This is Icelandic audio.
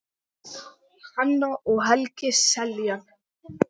Hanna og Helgi Seljan.